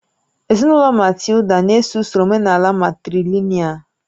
Ezinụlọ Matilda na-eso usoro omenaala matrìlị̀nị́al